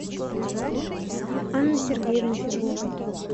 анны сергеевны федуловой